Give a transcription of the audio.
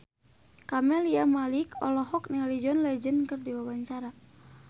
Camelia Malik olohok ningali John Legend keur diwawancara